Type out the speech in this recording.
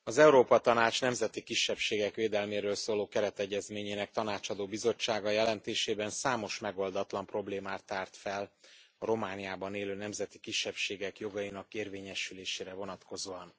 Elnök Asszony! Az Európa Tanács nemzeti kisebbségek védelméről szóló keretegyezményének tanácsadó bizottsága jelentésében számos megoldatlan problémát tárt fel a Romániában élő nemzeti kisebbségek jogainak érvényesülésére vonatkozóan.